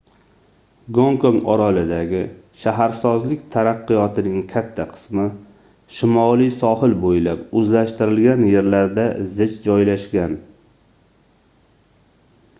gonkong orolidagi shaharsozlik taraqqiyotining katta qismi shimoliy sohil boʻylab oʻzlashtirilgan yerlarda zich joylashgan